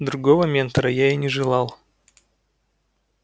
другого ментора я и не желал